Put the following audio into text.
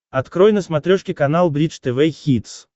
открой на смотрешке канал бридж тв хитс